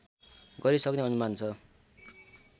गरिसक्ने अनुमान छ